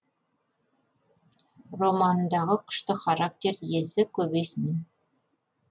романындағы күшті характер иесі көбейсін